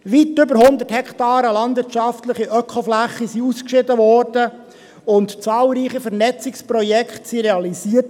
Weit über 100 Hektaren Öko-Flächen wurden ausgeschieden und zahlreiche Vernetzungsprojekte realisiert.